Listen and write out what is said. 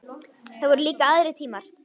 Það voru líka aðrir tímar.